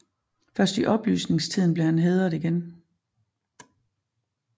Først i oplysningstiden blev han hædret igen